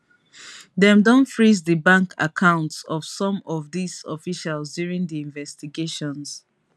the day no go as i plan am but e give me something wey go last pass.